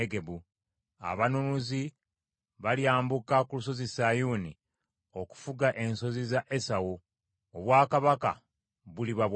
Abanunuzi balyambuka ku Lusozi Sayuuni, okufuga ensozi za Esawu. Obwakabaka buliba bwa Mukama .”